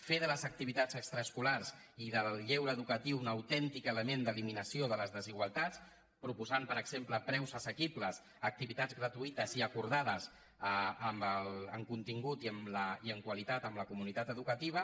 fer de les activitats ex·traescolars i del lleure educatiu un autèntic element d’eliminació de les desigualtats proposant per exem·ple preus assequibles activitats gratuïtes i acordades amb contingut i amb qualitat amb la comunitat edu·cativa